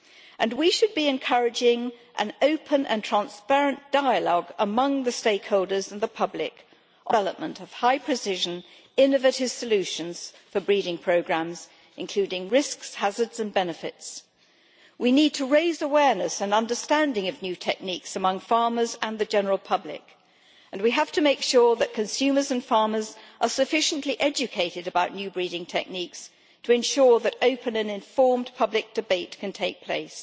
And we should be encouraging an open and transparent dialogue among the stakeholders and the public on responsible development of high precision innovative solutions for breeding programmes, including risks, hazards and benefits. We need to raise awareness and understanding of new techniques among farmers and the general public, and we have to make sure that consumers and farmers are sufficiently educated about new breeding techniques to ensure that open and informed public debate can take place.